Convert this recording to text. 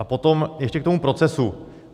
A potom ještě k tomu procesu.